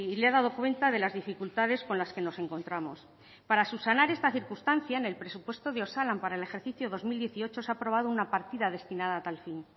le he dado cuenta de las dificultades con las que nos encontramos para subsanar esta circunstancia en el presupuesto de osalan para el ejercicio dos mil dieciocho se ha aprobado una partida destinada a tal fin